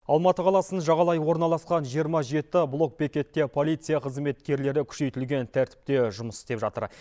алматы қаласын жағалай орналасқан жиырма жеті блок бекетте полиция қызметкерлері күшейтілген тәртіпте жұмыс істеп жатыр